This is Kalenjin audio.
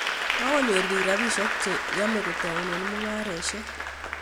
Kokonyor piik rapisyek che yamei kotoune mung'aresyek